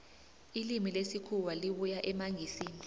ilimi lesikhuwa libuya emangisini